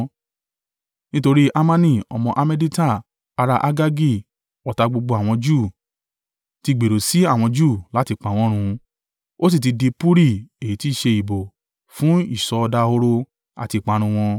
Nítorí Hamani ọmọ Hammedata, ará Agagi, ọ̀tá gbogbo àwọn Júù, ti gbèrò sí àwọn Júù láti pa wọ́n run, ó sì ti di puri (èyí tí í ṣe ìbò) fún ìsọdahoro àti ìparun wọn.